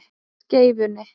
Skeifunni